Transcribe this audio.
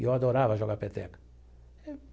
E eu adorava jogar peteca.